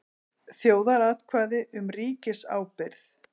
Þjóðaratkvæði um ríkisábyrgð